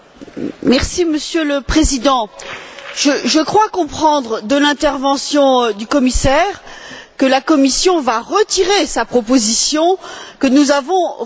Monsieur le Président, je crois comprendre de l'intervention du commissaire que la Commission va retirer sa proposition que nous avons rejetée.